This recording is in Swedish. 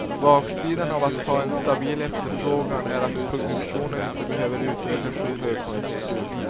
Baksidan av att ha en stabil efterfrågan är att produktionen inte behöver ökas i högkonjunktur.